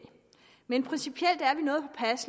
men principielt er